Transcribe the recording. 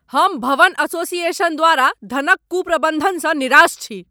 हम भवन एसोसिएशन द्वारा धनक कुप्रबन्धनसँ निराश छी।